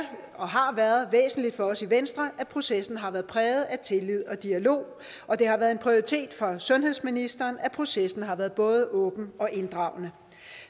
og har været væsentligt for os i venstre at processen har været præget af tillid og dialog og det har været en prioritet for sundhedsministeren at processen har været både åben og inddragende